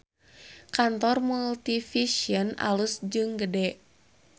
Kantor Multivision alus jeung gede